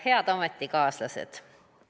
Head ametikaaslased!